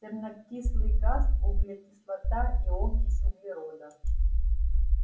сернокислый газ углекислота и окись углерода